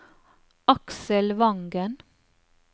Aksel Vangen